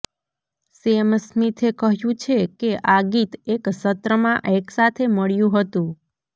same સ્મિથે કહ્યું છે કે આ ગીત એક સત્રમાં એકસાથે મળ્યું હતું